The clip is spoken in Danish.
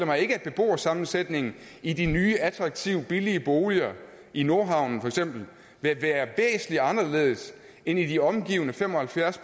at beboersammensætningen i de nye attraktive billige boliger i nordhavnen for eksempel vil være væsentlig anderledes end i de omgivende fem og halvfjerds